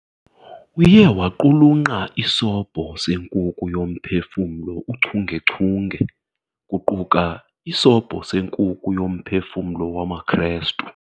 Uye waqulunqa "iSobho seNkuku yoMphefumlo uchungechunge", kuquka "iSobho seNkuku yoMphefumlo wamaKristu."